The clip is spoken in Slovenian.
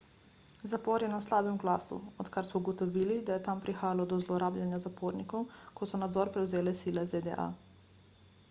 zapor je na slabem glasu odkar so ugotovili da je tam prihajalo do zlorabljanja zapornikov ko so nadzor prevzele sile zda